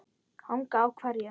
Hanga á hverju?